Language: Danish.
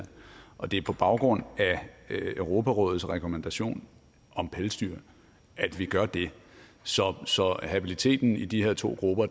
og det er på baggrund af europarådets rekommandation om pelsdyr at vi gør det så så habiliteten i de her to grupper